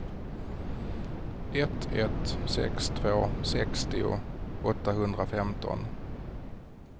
ett ett sex två sextio åttahundrafemton